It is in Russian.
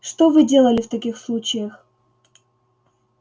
что вы делали в таких случаях